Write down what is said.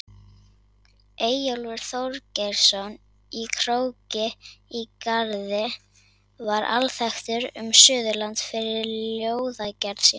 Eyjólfur Þorgeirsson í Króki í Garði var alþekktur um Suðurland fyrir ljóðagerð sína.